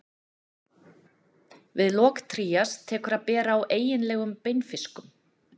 við lok trías tekur að bera á eiginlegum beinfiskum